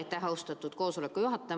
Suur aitäh, austatud koosoleku juhataja!